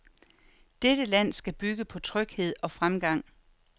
Dette land skal bygge på tryghed og fremgang.